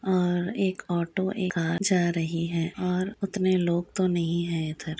और एक ओटो एक कार जा रही है और उतने लोग तो नहीं है इधर।